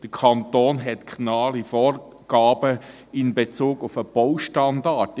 Der Kanton hat genaue Angaben in Bezug auf den Baustandard.